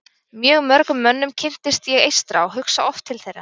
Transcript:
Mjög mörgum mönnum kynntist ég eystra og hugsa oft til þeirra.